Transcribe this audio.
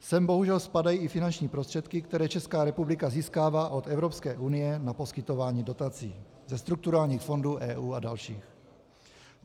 Sem bohužel spadají i finanční prostředky, které Česká republika získává od Evropské unie na poskytování dotací do strukturálních fondů EU a dalších.